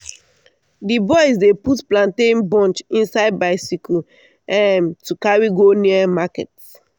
d boys dey put plantain bunch inside bicycle um to carry go near market.